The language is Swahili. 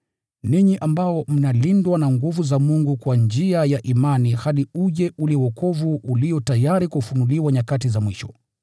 ninyi ambao mnalindwa na nguvu za Mungu kwa njia ya imani, hadi uje ule wokovu ulio tayari kufunuliwa nyakati za mwisho.